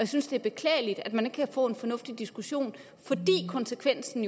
synes det er beklageligt at man ikke kan få en fornuftig diskussion fordi konsekvensen